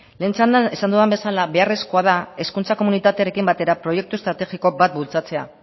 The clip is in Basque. lehen txandan esan dudan bezala beharrezkoa da hezkuntza komunitatearekin batera proiektu estrategiko bat bultzatzea